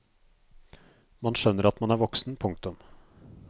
Man skjønner at man er voksen. punktum